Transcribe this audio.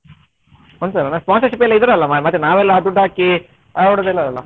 ಒಂದುಸಾವಿರ ನಾ sponsorship ಎಲ್ಲ ಇದ್ದಾರಲ್ಲಾ ಮಾರ್ರೆ ನಾವೆಲ್ಲಾ ದುಡ್ಡು ಹಾಕಿ ಆಡುದಲ್ಲಲ್ಲ.